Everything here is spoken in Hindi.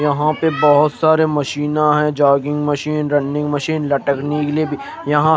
यहा पे बहोत सारे मशीना है जोगिंग मशीन रनिंग मशीन लटकने के लिए भी यहा--